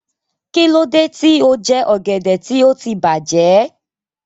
Kí ló dé tí o jẹ ọ̀gẹ̀dẹ̀ tí ó ti bàjẹ́?